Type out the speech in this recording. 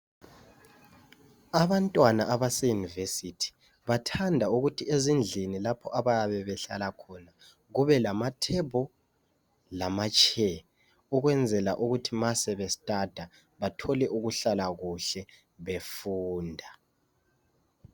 Abantwana abaseyunivesithi bathanda ukuthi ezindlini lapho abayabe behlala khona kubelamathebuli lezitulo ukwenzela ukuthi nxa sebefuna ukubala bathole ukuhlala kuhle befunda.